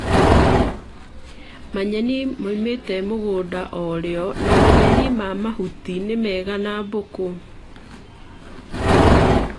Manyeni maumĩte mũgũnda o rĩo na manyeni ma mahuti nĩmega na mbũkũ